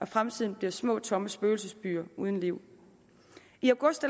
fremtiden bliver små tomme spøgelsesbyer uden liv i august